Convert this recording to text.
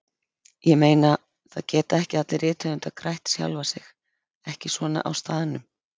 Ég meina, það geta ekki allir rithöfundar grætt sjálfa sig, ekki svona á staðnum.